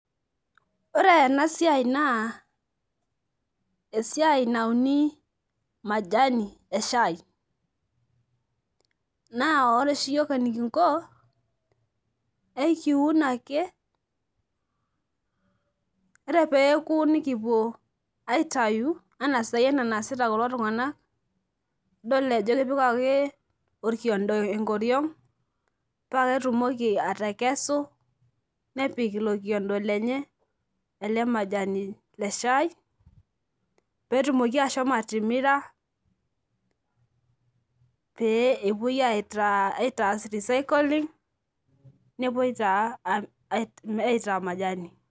Ore enasiai na esiai nauni majani eshai na oreoshi uiok enikingo ekiun ake ore peoku nikipuo aitau aitau ana enasita kulotunganak idol ajo kepik orkiondo enkoriong paketumoki atekesu nepik ilobkiondo lenye enamajani eshai petumokibashomo atimira pee epuoi aitaas recycling pepuoi aitaa majani.